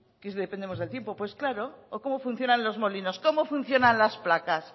que dependemos del tiempo pues claro o cómo funcionan los molinos cómo funcionan las placas